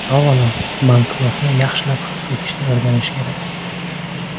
Avvalo, banknotni yaxshilab his etishni o‘rganish kerak.